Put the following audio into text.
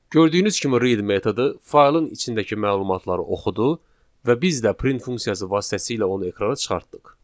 Gördüyünüz kimi read metodu faylın içindəki məlumatları oxudu və biz də print funksiyası vasitəsilə onu ekrana çıxartdıq.